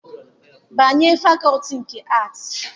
Banye fakọọtị nke Aatị!